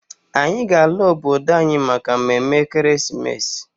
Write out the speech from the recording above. Anyị ga-ala obodo anyị maka mme mme ekeresimesi.